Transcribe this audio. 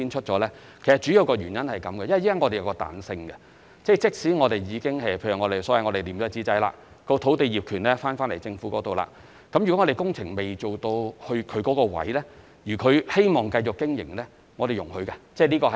主要原因，是因為我們現時提供彈性，便是即使我們已經所謂"貼紙仔"，即政府已收回土地業權，但如果涉及經營者的位置的工程尚未開展，而他亦希望繼續經營，我們是容許的。